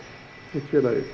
hitt félagið